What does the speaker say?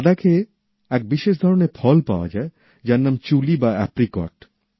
লাদাখে এক বিশেষ ধরনের ফল পাওয়া যায় যার নাম চুলি বা অ্যাপ্রিকট